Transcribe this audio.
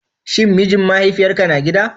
Shin mijin mahaifiyarka na gida?